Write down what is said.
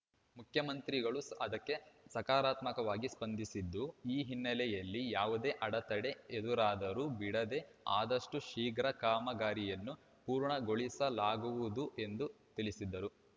ಮುಖ್ಯಮಂತ್ರಿಗಳೂ ಅದಕ್ಕೆ ಸಕಾರಾತ್ಮಕವಾಗಿ ಸ್ಪಂದಿಸಿದ್ದು ಈ ಹಿನ್ನೆಲೆಯಲ್ಲಿ ಯಾವುದೇ ಅಡೆತಡೆ ಎದುರಾದರೂ ಬಿಡದೇ ಆದಷ್ಟುಶೀಘ್ರ ಕಾಮಗಾರಿಯನ್ನು ಪೂರ್ಣಗೊಳಿಸಲಾಗುವುದು ಎಂದು ತಿಳಿಸಿದರು